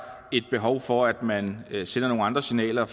et behov for at man sender nogle andre signaler